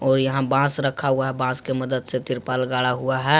और यहां बांस रखा हुआ है बांस के मदद से तिरपाल गाड़ा हुआ है।